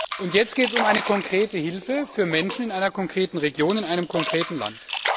Nun geht es um eine konkrete Hilfe für Menschen in einer konkreten Region, in einem konkreten Land.